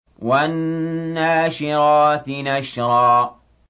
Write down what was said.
وَالنَّاشِرَاتِ نَشْرًا